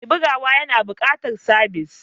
Mai bugawa yana buƙatar sabis.